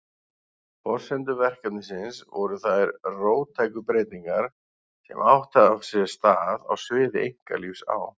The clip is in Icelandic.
Forsendur verkefnisins voru þær róttæku breytingar sem átt hafa sér stað á sviði einkalífs á